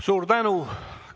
Suur tänu!